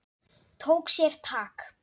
Tók sér tak.